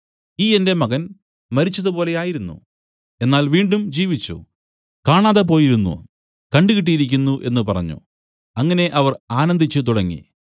ഈ എന്റെ മകൻ മരിച്ചതുപോലെയായിരുന്നു എന്നാൽ വീണ്ടും ജീവിച്ചു കാണാതെ പോയിരുന്നു കണ്ടുകിട്ടിയിരിക്കുന്നു എന്നു പറഞ്ഞു അങ്ങനെ അവർ ആനന്ദിച്ചു തുടങ്ങി